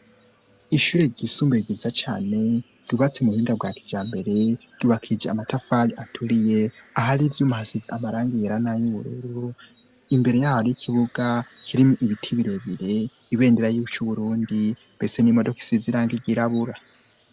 Ishuri ryisumbue giza cane yubatse mu buhinga bwa kija mbere yubakije amatafali aturiye ah ari ivyo umuhasizi amaranga iyerana y'ubururru imbere yaho y'ikibuga kirimwo ibiti birebire ibendera yuco uburundi mbese n'imodokisi ziranga igirabura.